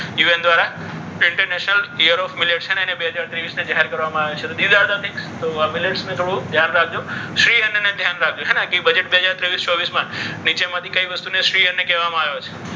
UN દ્વારા international year of millets બે હાજર ત્રેવીસને જાહેર કરવામાં આવેલું છે. તો આ millets ને થોડું ધ્યાન રાખજો. શ્રી અન્નને ધ્યાન રાખજો. હે ને કે બજેટ બે હજાર ત્રેવીસ ચોવીસ. નીચેનામાંથી કઈ વસ્તુને શ્રી અન્ન કહેવામાં આવે છે?